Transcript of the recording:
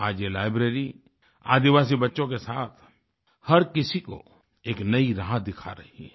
आज ये लाइब्ररी आदिवासी बच्चों के साथ हर किसी को एक नई राह दिखा रही है